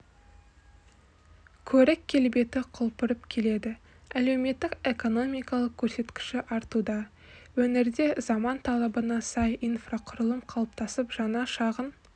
көрік-келбеті құлпырып келеді әлеуметтік экономикалық көрсеткіші артуда өңірде заман талабына сай инфрақұрылым қалыптасып жаңа шағын